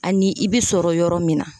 Ani i bi sɔrɔ yɔrɔ min na